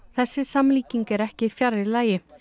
þessi samlíking er ekki fjarri lagi